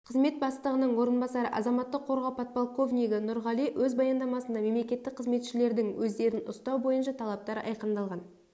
қызмет бастығының орынбасары азаматтық қорғау подполковнигі нұрғали өз баяндамасында мемлекеттік қызметшілердің өздерін ұстау бойынша талаптар айқындалған